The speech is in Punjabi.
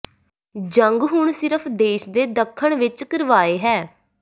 ਜੰਗ ਹੁਣ ਸਿਰਫ ਦੇਸ਼ ਦੇ ਦੱਖਣ ਵਿੱਚ ਕਰਵਾਏ ਹੈ